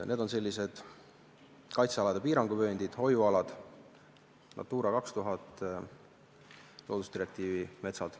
Need on sellised kaitsealade piiranguvööndid, hoiualad, NATURA 2000 loodusdirektiivi metsad.